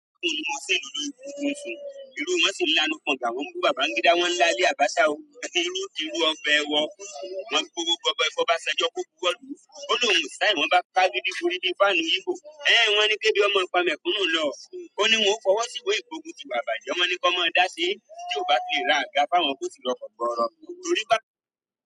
Abacha o, irú di rú ọbẹ̀ iwọ, wọ́n gbówó gọbọyi fún Obásanjọ́ kó bọwọ́ lù ú, ó l'óun ò sign, wọ́n bá kágídí borí bíi fan íbò, ẹn wọ́n ní kébi ó ma pa mẹ̀kúnnù lọ, óní wọn ó fọwọ́ sí ìwé ìgbógun tìwà ìbàjẹ́ wọ́n ní ó máa dá ṣe é, tí ò bá ti le ra àga.